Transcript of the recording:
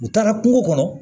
U taara kungo kɔnɔ